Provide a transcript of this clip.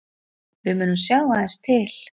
Við munum sjá aðeins til